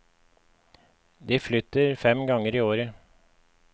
De flytter fem ganger i året.